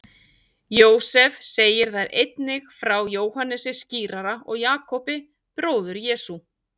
Jósefus segir þar einnig frá Jóhannesi skírara og Jakobi, bróður Jesú.